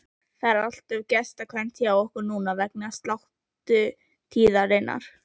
Það er allt of gestkvæmt hjá okkur núna vegna sláturtíðarinnar.